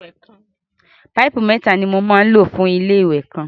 Páìpù mẹ́ta ni mo máa ń lò fún ilé-ìwẹ̀ kan.